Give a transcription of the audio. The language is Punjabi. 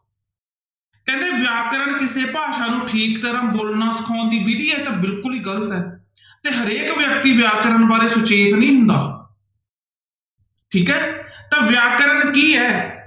ਕਹਿੰਦੇ ਵਿਆਕਰਨ ਕਿਸੇ ਭਾਸ਼ਾ ਨੂੰ ਠੀਕ ਤਰ੍ਹਾਂ ਬੋਲਣਾ ਸਿਖਾਉਣ ਦੀ ਵਿੱਧੀ, ਇਹ ਤਾਂ ਬਿਲਕੁਲ ਹੀ ਗ਼ਲਤ ਹੈ ਤੇ ਹਰੇਕ ਵਿਅਕਤੀ ਵਿਆਕਰਨ ਬਾਰੇ ਸੁਚੇਤ ਨੀ ਹੁੰਦਾ ਠੀਕ ਹੈ, ਤਾਂ ਵਿਆਕਰਨ ਕੀ ਹੈ?